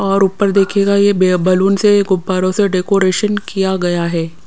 और ऊपर देखिएगा ये बै बलून से गुब्बारों से डेकोरेशन किया गया है।